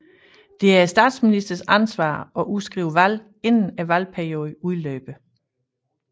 Det er statsministerens ansvar at udskrive valg inden valgperioden udløber